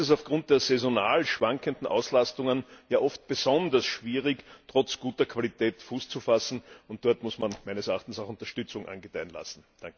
Hier ist es aufgrund der saisonal schwankenden Auslastungen ja oft besonders schwierig, trotz guter Qualität Fuß zu fassen, und dort muss man meines Erachtens KMU auch Unterstützung angedeihen lassen.